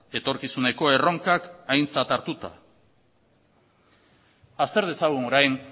etorkizuneko erronkak aintzat hartuta azter dezagun orain